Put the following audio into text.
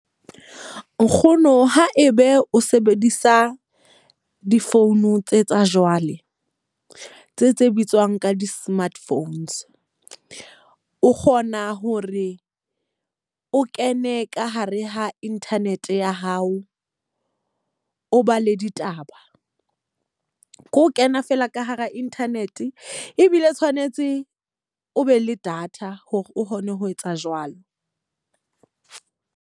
Nkgono ha ebe o sebedisa di-phone tse tsa jwale, tse tse bitswang ka di-smart phones. O kgona hore o kene ka hare ha internet ya hao, o ba le ditaba. Ke o kena fela ka hara internet, ebile tshwanetse o be le data hore o kgone ho etsa jwalo.